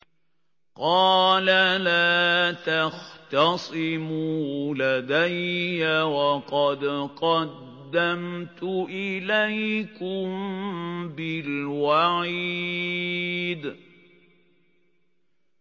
قَالَ لَا تَخْتَصِمُوا لَدَيَّ وَقَدْ قَدَّمْتُ إِلَيْكُم بِالْوَعِيدِ